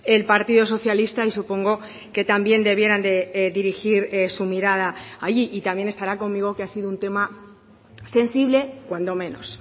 el partido socialista y supongo que también debieran de dirigir su mirada allí y también estará conmigo que ha sido un tema sensible cuando menos